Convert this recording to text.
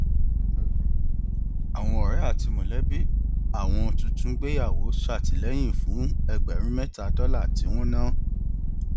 àwọn ọrẹ àti mọlẹbí àwọn tuntun gbéyàwó ṣètìlẹyìn fún ẹgbẹrún mẹta dọlà tí wọn ná